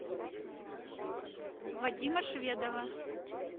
вадима шведова